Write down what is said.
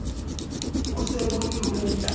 bo se bo le ho